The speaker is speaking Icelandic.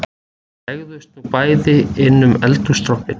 Þau gægðust nú bæði inn um eldhússtrompinn